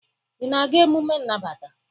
ị na-aga emume nnabata?